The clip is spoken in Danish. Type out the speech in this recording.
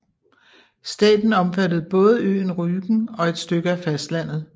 Staten omfattede både øen Rügen og et stykke af fastlandet